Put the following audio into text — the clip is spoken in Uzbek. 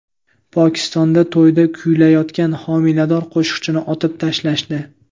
Pokistonda to‘yda kuylayotgan homilador qo‘shiqchini otib tashlashdi.